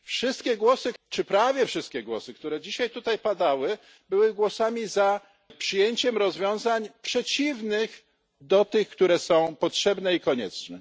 Wszystkie czy prawie wszystkie głosy, które dzisiaj tutaj padły, były głosami za przyjęciem rozwiązań przeciwnych do tych, które są potrzebne i konieczne.